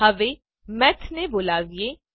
હવે મેથ ને બોલાવીએ